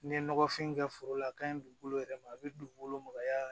N'i ye nɔgɔfin kɛ foro la a ka ɲi dugukolo yɛrɛ ma a bɛ dugukolo magaya